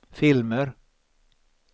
filmer